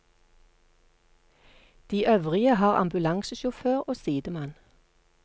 De øvrige har ambulansesjåfør og sidemann.